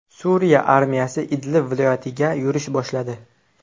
Suriya armiyasi Idlib viloyatiga yurish boshladi.